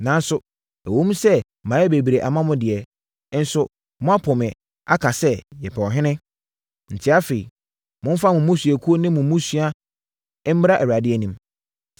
Nanso, ɛwom sɛ mayɛ bebree ama mo deɛ, nso moapo me aka sɛ, ‘Yɛpɛ ɔhene.’ Enti, afei, momfa mo mmusuakuo ne mo mmusua mmra Awurade anim.”